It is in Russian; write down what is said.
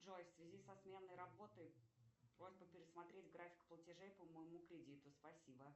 джой в связи со сменой работы просьба пересмотреть график платежей по моему кредиту спасибо